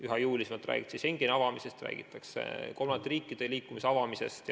Üha jõulisemalt räägitakse Schengeni ruumi avamisest, räägitakse ka kolmandate riikide vahelise liikumise avamisest.